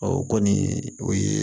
Ɔ o kɔni o ye